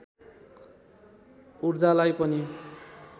ऊर्जालाई पनि